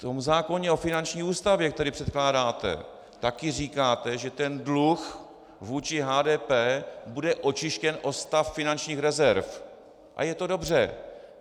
V tom zákoně o finanční ústavě, který předkládáte, taky říkáte, že ten dluh vůči HDP bude očištěn o stav finančních rezerv, a je to dobře.